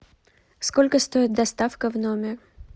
сколько стоит доставка в номер